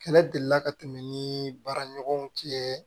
Kɛlɛ deli la ka tɛmɛ ni baara ɲɔgɔnw cɛ